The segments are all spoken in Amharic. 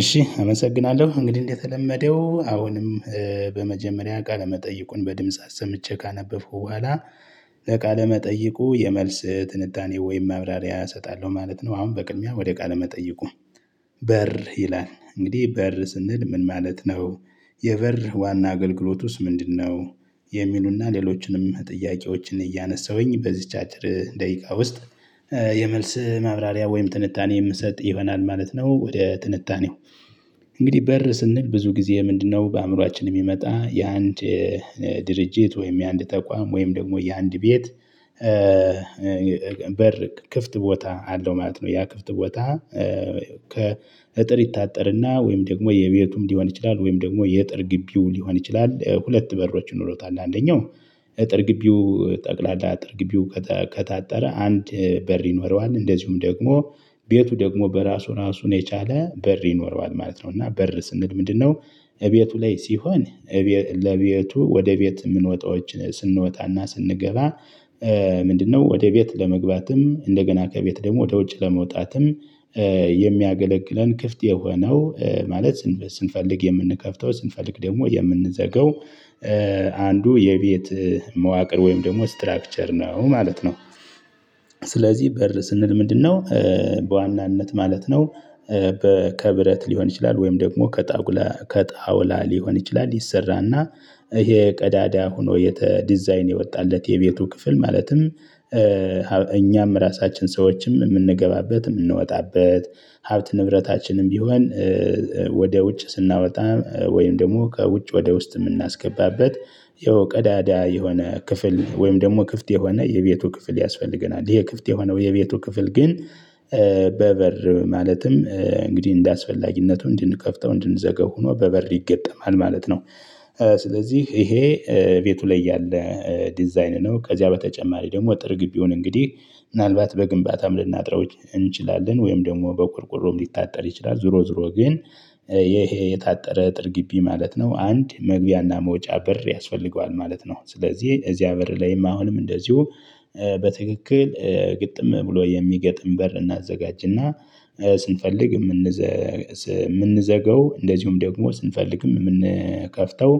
እሺ አመሰግናለሁ እንግዲህ እንደተለመደው አሁንም በመጀመሪያ ቃለ መጠይቁን በድምጽ አሰምቼ ካነበበው በኋላ ለቃለ መጠይቁ የመልስ ትንዳኔ ወይም ማብራሪያ እሰጣለሁ ማለት ነው። አሁን በቅድሚያ ወደ ቃል መጠየቁ በር ይላል እንግዲህ በር ስንል ምን ማለት ነው? የበር ዋና አገልግሎት ውስጥ ምንድነው? የሚሉና ሌሎችንም ጥያቄዎችን እያነሳሁኝ በዚች አጭር ደቂቃ ውስጥ የመልስ ማብራሪያ ወይም ትንታኔ የምሰጥ ይሆናል ማለት ነው። ወደ ትንታኔው እንግዲህ በር ስንል ብዙ ጊዜ ምንድነው? በአእምሮአችን የሚመጣ የአንድ ድርጅት ወይም የአንድ ተቋም ወይም ደግሞ የአንድ ቤት በር ክፍት ቦታ አለው ማለት ነው። ያ ክፍት ቦታ ከእጥር ይታጠርና ወይም ደግሞ የቤቱም ሊሆን ይችላል ወይም ደግሞ የእጥር ግቢው ሊሆን ይችላል። ሁለት በሮችን ይኖሩታል አንደኛው እጥር ግቢው ጠቅላላ አጥር ግቢው ከታጠረ አንድ በር ይኖረዋል። እንደዚሁም ደግሞ ቤቱ ደግሞ በራሱ ራሱን የቻለ በር ይኖረዋል ማለት ነው። እና በር ስንል ምንድነው? እቤቱ ላይ ሲሆን ለቤቱ ወደ ቤት የምንወጣዎችን ስንወጣና ስንገባ። ምንድነው ወደ ቤት ለመግባትም እንደገና ከቤት ደግሞ ወደ ውጭ ለመውጣትም። የሚያገለግለን ክፍት የሆነው ማለት ስንፈልግ የምንከፍተው ስንፈልግ ደግሞ የምንዘጋው አንዱ የቤት መዋቅር ወይም ደግሞ ስትራክቸር ነው ማለት ነው። ስለዚህ በር ስንል ምንድነው? በዋናነት ማለት ነው። ከብረት ሊሆን ይችላል ወይም ደግሞ ከጣጉላ ከጣውላ ሊሆን ይችላል። ይሰራና ይሄ ቀዳዳ ሆኖ የተ ዲዛይን የወጣለት የቤቱ ክፍል ማለትም እኛም ራሳችን ሰዎችም የምንገባበት የምንወጣበት ሀብት ንብረታችንም ቢሆን። ወደ ውጭ ስናወጣ ወይም ደግሞ ከውጭ ወደ ውስጥ የምናስገባበት ያው ቀዳዳ የሆነ ክፍል ወይም ደግሞ ክፍት የሆነ የቤቱ ክፍል ያስፈልገናል። ይሄ ክፍት የሆነው የቤቱ ክፍል ግን በበር ማለትም እንግዲህ እንደአስፈላጊነቱ እንድንከፍተው እንድንዘገው ሆኖ በበር ይገጠማል ማለት ነው። ስለዚህ ይሄ ቤቱ ላይ ያለ ዲዛይን ነው። ከዚያ በተጨማሪ ደግሞ አጥር ግቢውን እንግዲህ ምናልባት በግንባታም ልናጥረው እንችላለን ወይም ደግሞ በቁርቁሮም ሊታጠር ይችላል። ዞሮ ዞሮ ግን ይሄ የታጠረ አጥር ግቢ ማለት ነው። አንድ መግቢያና መውጫ በር ያስፈልገዋል ማለት ነው። ስለዚህ እዚያ በር ላይም አሁንም እንደዚሁ በትክክል ግጥም ብሎ የሚገጥም በር እናዘጋጅና። ስንፈልግ የምንዘገው እንደዚሁም ደግሞ ስንፈልግም የምንከፍተው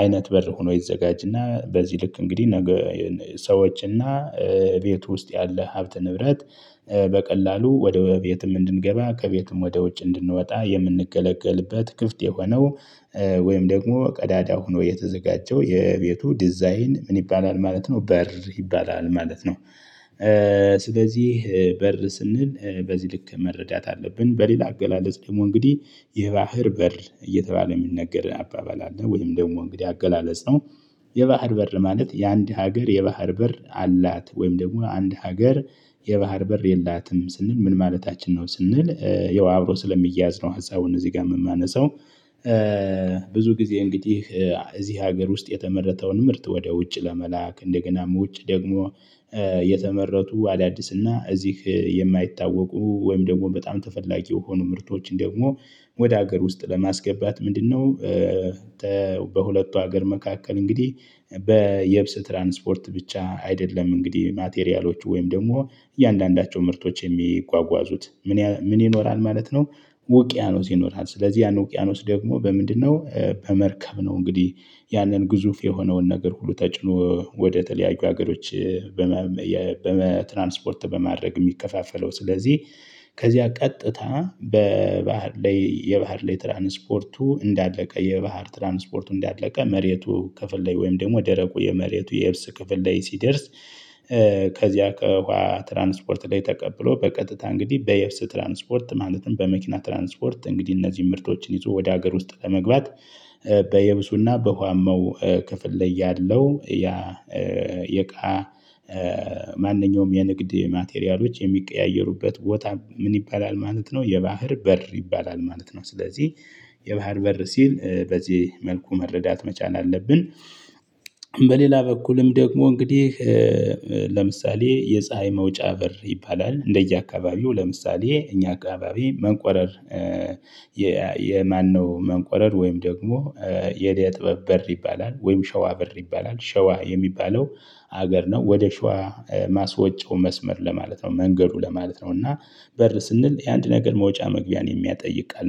አይነት በር ሆኖ ይዘጋጅና በዚህ ልክ እንግዲህ ነገ ሰዎች እና ቤት ውስጥ ያለ ሀብት ንብረት በቀላሉ ወደ ቤትም እንድንገባ ከቤቱም ወደ ውጭ እንድንወጣ የምንገለግልበት ክፍት የሆነው። ወይም ደግሞ ቀዳዳ ሆኖ የተዘጋጀው የቤቱ ዲዛይን ምን ይባላል ማለት ነው። በር ይባላል ማለት ነው። ስለዚህ በር ስንል በዚህ ልክ መረዳት አለብን። በሌላ አገላለጽ ደግሞ እንግዲህ የባህር በር እየተባለ የሚነገር አባባል አለ ወይም ደግሞ እንግዲህ አገላለጽ ነው። የባህር በር ማለት የአንድ ሀገር የባህር በር አላት ወይም ደግሞ አንድ ሀገር የባህር በር የላትም ስንል ምን ማለታችን ነው? ስንል ያው አብሮ ስለሚያዝን ሀሳቡን እዚህ ጋር የማነሳው። ብዙ ጊዜ እንግዲህ እዚህ ሀገር ውስጥ የተመረተውን ምርት ወደ ውጭ ለመላክ እንደገናም ውጭ ደግሞ የተመረቱ አዳዲስና እዚህ የማይታወቁ ወይም ደግሞ በጣም ተፈላጊ የሆኑ ምርቶችን ደግሞ ወደ ሀገር ውስጥ ለማስገባት ምንድነው? በሁለቱ ሀገር መካከል እንግዲህ በየብስ ትራንስፖርት ብቻ አይደለም እንግዲህ ማቴሪያሎች ወይም ደግሞ እያንዳንዳቸው ምርቶች የሚጓጓዙት ምን ምን ይኖራል ማለት ነው። ውቅያኖስ ይኖራል ስለዚህ ያን ውቅያኖስ ደግሞ በምንድነው በመርከብ ነው። እንግዲህ ያንን ግዙፍ የሆነውን ነገር ሁሉ ተጭኖ ወደ ተለያዩ ሀገሮች በትራንስፖርት በማድረግ የሚከፋፈለው ስለዚህ ከዚያ ቀጥታ በባህር ላይ የባህር ላይ ትራንስፖርቱ እንዳለቀ የባህር ትራንስፖርቱ እንዳለቀ መሬቱ ክፍል ላይ ወይም ደግሞ ደረቁ የመሬቱ የየብስ ክፍል ላይ ሲደርስ። ከዚያ ከውሃ ትራንስፖርት ላይ ተቀብሎ በቀጥታ እንግዲህ በየብስ ትራንስፖርት ማለትም በመኪና ትራንስፖርት እንግዲህ እነዚህን ምርቶችን ይዞ ወደ ሀገር ውስጥ ለመግባት። በየብሱና በወሃማው ክፍል ላይ ያለው ያ የእቃ ማንኛውም የንግድ ማቴሪያሎች የሚቀያየሩበት ቦታ ምን ይባላል ማለት ነው። የባህር በር ይባላል ማለት ነው። ስለዚህ የባህር በር ሲል በዚህ መልኩ መረዳት መቻል አለብን። በሌላ በኩልም ደግሞ እንግዲህ ለምሳሌ የፀሀይ መውጫ በር ይባላል። እንደየአካባቢው ለምሳሌ እኛ አካባቢ መንቆረር የማነው መንቆረር ወይም ደግሞ የደጥያ በር ይባላል ወይም ሸዋ በር ይባላል ሸዋ የሚባለው ሀገር ነው። ወደ ሸዋ ማስወጨው መስመር ለማለት ነው። መንገዱ ለማለት ነው። እና በር ስንል የአንድ ነገር መውጫ መግቢያን የሚያጠይቅ ቃል